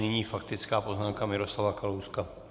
Nyní faktická poznámka Miroslava Kalouska.